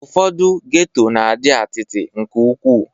Ụfọdụ geto na-adị atịtị nke ukwu